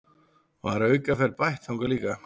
Var aukaferð bætt þangað líka